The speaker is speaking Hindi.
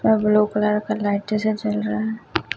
और ब्लू कलर का लाइट्स जल रहा है--